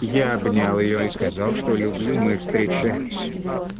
я обнял её и сказал что люблю мы встречались